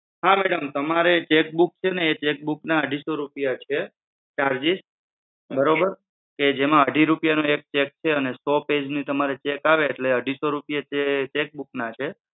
હા madam તમારે cheque book છે ને એ cheque book ના અઢીસો રૂપિયા છે charges, બરોબર? કે જેમાં અઢી રૂપિયાનો એક cheque છે અને સો પેજના cheque આવે એટલે અઢીસો રૂપિયા cheque book ના છે.